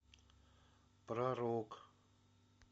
про рок